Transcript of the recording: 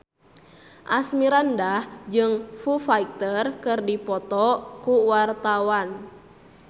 Asmirandah jeung Foo Fighter keur dipoto ku wartawan